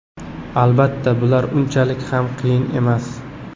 Albatta, bular unchalik ham qiyin emas.